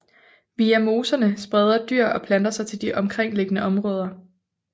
Via moserne spreder dyr og planter sig til de omkringliggende områder